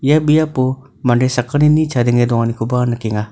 ia biapo mande sakgnini chadenge donganikoba nikenga.